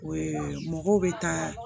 mɔgɔw bɛ taa